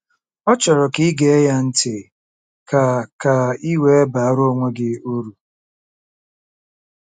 Ọ chọrọ ka i gee ya ntị ka ka i wee baara onwe gị uru.